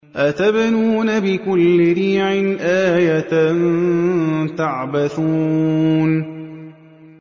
أَتَبْنُونَ بِكُلِّ رِيعٍ آيَةً تَعْبَثُونَ